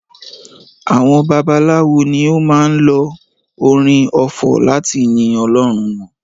Àwọn babaláwo ni ó máa ń lo orin ọfọ̀ láti yin ọlọ́run wọn